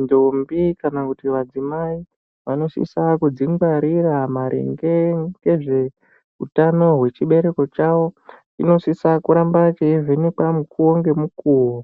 ndombi kana kuti vadzimai vanosisa kudzingwarira maringe ngezveutano hwechibereko chawo, chinosisa kuramba cheivhenekwa mukuwo ngemukuwo.